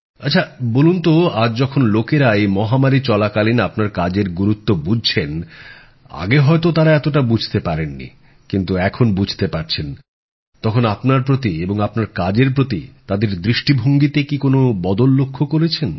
আচ্ছাবলুন তো আজ যখন লোকেরা এই মহামারী চলাকালীন আপনার কাজের গুরুত্ব বুঝছেন আগে হয়তো তারা এতটা বুঝতে পারেন নি কিন্তু এখন বুঝতে পারছেন তখন আপনার প্রতি এবং আপনার কাজের প্রতি তাদের দৃষ্টিভঙ্গিতে কি কোনো বদল লক্ষ্য করেছেন